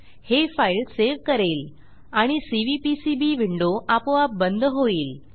हे file save करेल आणि सीव्हीपीसीबी विंडो आपोआप बंद होईल